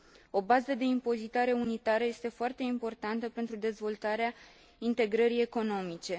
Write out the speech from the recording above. O bază de impozitare unitară este foarte importantă pentru dezvoltarea integrării economice.